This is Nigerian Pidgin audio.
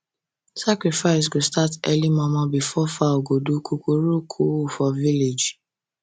sacrifice go start early momo before fowl go do coocooroocoo for village